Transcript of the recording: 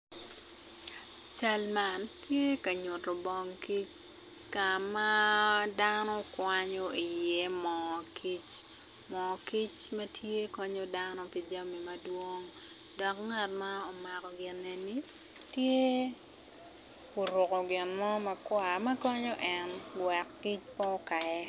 Cal man tye ka nyuto bong kic ka ma dano kwanyo iye moo kic moo kic ma tye konyo dano pi jami madwong dok ngat ma omako bongo tye oruko gin mo makwar konyo en wek kic pe okaye.